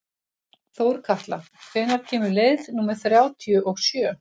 Þórkatla, hvenær kemur leið númer þrjátíu og sjö?